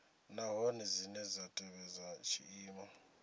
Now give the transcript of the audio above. nahone dzine dza tevhedza tshiimo